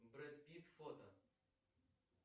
бред питт фото